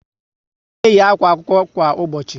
A na eyi àkwà akwụkwọ kwa ụbọchị